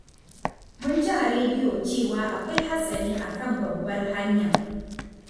Mun ji a rediyo cewa akwai hatsari a kan babbar hanya.